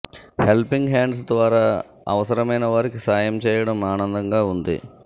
helping hands ద్వారా అవసరమైన వారికి సాయం చేయడం ఆనందంగా ఉంది